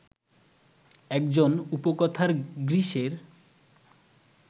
একজন উপকথার গ্রীসের